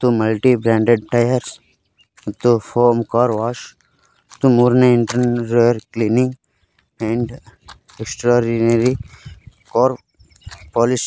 multi branded tyres ಮತ್ತು foam car wash ಮತ್ತು ಮೂರನೇ interior cleaning and extraordinary car polish --